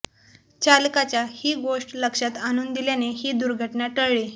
चालकाच्या ही गोष्ट लक्षात आणुन दिल्याने ही दुर्घटना टळली